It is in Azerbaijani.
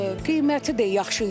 qiyməti də yaxşı idi.